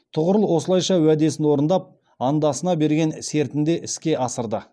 тұғырыл осылайша уәдесін орындап андасына берген сертінде іске асырды